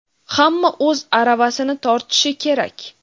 hamma o‘z aravasini tortishi kerak.